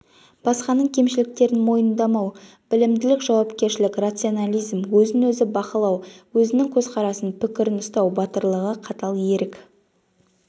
басқаның кемшіліктерін мойындамау білімділік жауапкершілік рационализм өзін-өзі бақылау өзінің көзқарасын пікірін ұстау батырлығы қатал ерік